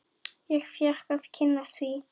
Ég fékk að kynnast því.